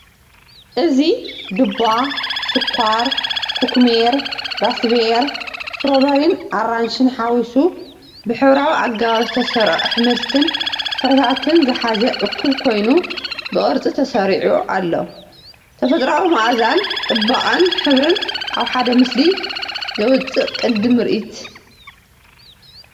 እዚ ዱባ፡ ስኳር፡ ኩኩሜር፡ ራስቤሪ፡ ስትሮቤሪን ኣራንሺን ሓዊሱ ብሕብራዊ ኣገባብ ዝተሰርዑ ኣሕምልትን ፍረታትን ዝሓዘ እኩብ ኮይኑ፡ ብቅርጺ ተሰሪዑ። ተፈጥሮኣዊ መኣዛን ጽባቐን ሕብር ኣብ ሓደ ምስሊ ዘውጽእ ቅዲ ምርኢት።